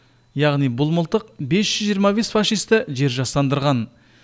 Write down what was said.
яғни бұл мылтық бес жүз жиырма бес фашисті жер жастандырған